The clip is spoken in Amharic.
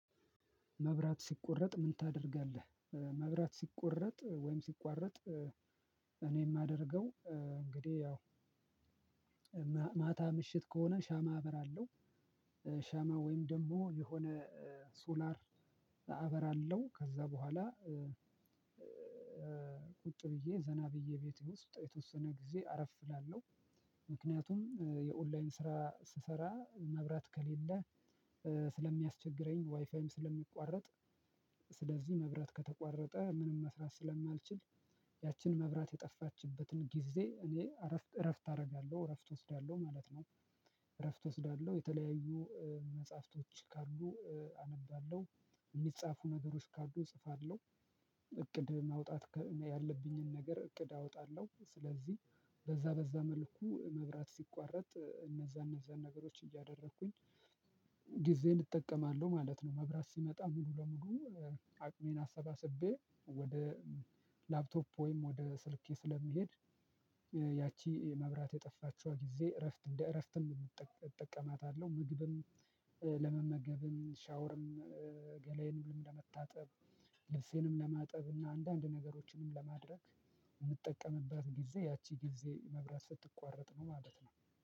መብራት ሲቆረጥ ምን ታደርጋለህ? መብራት ሲቆረጥ ወይም ሲቋረጥ እኔ የማደርገው እንግዲህ ያው ማታ ምሽት ከሆነ ሻማ አበራለሁ። ሻማ ወይም ደግሞ የሆነ ሶላር አበራለው። ከዛ በኋላ ቁጭ ብዬ ዘና ብዬ ቤቴ ውስጥ የተወሰነ ጊዜ አረፍ እላለሁ። ምክንያቱም የኦንላይን ስራ ስሰራ መብራት ከሌለ ስለሚያስቸግረኝ ዋይፋይም ስለሚቋረጥ ስለዚህ መብራት ከተቋረጠ ምንም መስራት ስለማልችል ያችን መብራት የጠፋችበትን ጊዜ እኔ እረፍት እረፍት አደርጋለሁ፣ እረፍት እወስዳለሁ ማለት ነው። እረፍት እወስዳለሁ የተለያዩ መጽሐፍቶች ካሉ አነባለሁ። የሚጻፉ ነገሮች ካሉ እጽፋለሁ። እቅድ ማውጣት ያለብኝን ነገር እቅድ አወጣለሁ። ስለዚህ በዛ በዛ መልኩ መብራት ሲቋረጥ እነዛ እነዛን ነገሮች እያደረኩኝ ግዜን እጠቀማለው ማለት ነው። መብራት ሲመጣ ሙሉ በሙሉ አቅሜን አሰባስቤ ወደ ላፕቶፕ ወይም ወደ ስልኬ ስለምሄድ ያቺ መብራት የጠፋችዋ ጊዜ እረፍት እንደ እረፍትም እጠቅ እጠቀማታለሁ። ምግብም ለመመገብም፣ ሻወርም ገላዬንም ለመታጠብ፣ ልብሴንም ለማጠብ፣ እና አንዳንድ ነገሮችንም ለማድረግ የምጠቀምበት ጊዜ ያቺ ጊዜ መብራት ስትቋረጥ ነው ማለት ነው።